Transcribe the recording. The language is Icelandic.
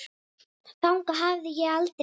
Þangað hafði ég aldrei komið.